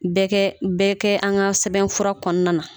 Bɛ kɛ bɛ kɛ an ka sɛbɛnfura kɔnɔna na